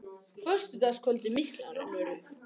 Föstudagskvöldið mikla rennur upp.